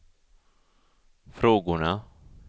frågorna